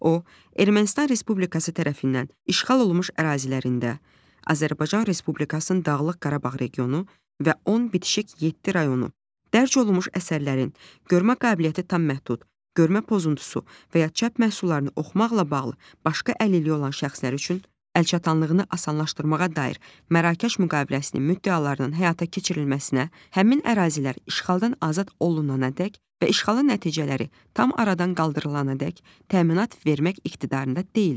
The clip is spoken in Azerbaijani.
o Ermənistan Respublikası tərəfindən işğal olunmuş ərazilərində, Azərbaycan Respublikasının Dağlıq Qarabağ regionu və ən bitişik yeddi rayonu dərc olunmuş əsərlərin görmə qabiliyyəti tam məhdud, görmə pozuntusu və ya çap məhsullarını oxumaqla bağlı başqa əlilliyi olan şəxslər üçün əlçatanlığını asanlaşdırmağa dair Mərakeş müqaviləsinin müddəalarının həyata keçirilməsinə, həmin ərazilər işğaldan azad olunana dək və işğalın nəticələri tam aradan qaldırılana dək təminat vermək iqtidarında deyildir.